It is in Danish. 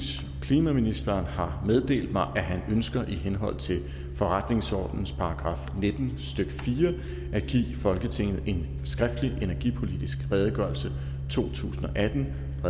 klimaministeren har meddelt mig at han ønsker i henhold til forretningsordenens § nitten stykke fire at give folketinget en skriftlig energipolitisk redegørelse to tusind og atten af